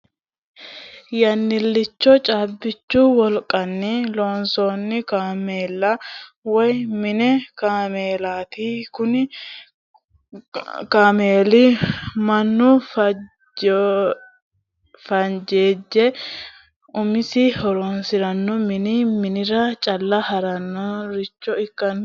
Yannilicho caabbichu woliqanni loosanno kaamella woyi mini kaameellati, kuni kaameelli manu fenjejje umisi hajoranna mini manira calla horonsiranoha ikkinotta buuxa dandinanni